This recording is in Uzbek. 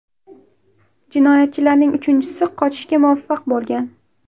Jinoyatchilarning uchinchisi qochishga muvaffaq bo‘lgan.